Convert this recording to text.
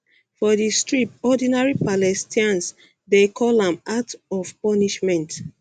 for di strip ordinary palestinians dey call am act am act of punishment